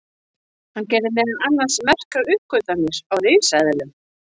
hann gerði meðal annars merkar uppgötvanir á risaeðlum